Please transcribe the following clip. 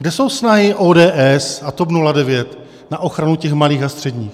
Kde jsou snahy ODS a TOP 09 na ochranu těch malých a středních?